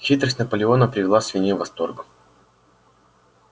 хитрость наполеона привела свиней в восторг